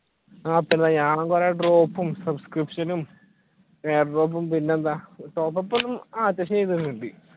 ഞാൻ കുറെ subscription ഉം പിന്നെന്താ